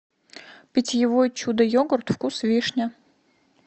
питьевой чудо йогурт вкус вишня